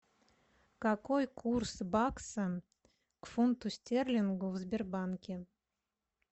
какой курс бакса к фунту стерлингу в сбербанке